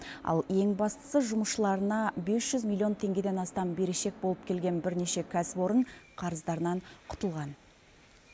ал ең бастысы жұмысшыларына бес жүз миллион теңгеден астам берешек болып келген бірнеше кәсіпорын қарыздарынан құтылған